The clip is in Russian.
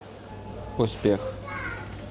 успех